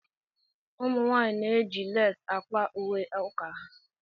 Ụmụ nwanyị na-eji leesi Akwa ùwé uka ha.